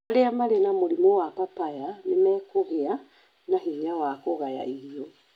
Arĩa marĩ na mũrimũ wa papaya nĩ mekũgĩa na hinya wa kũgaya irio.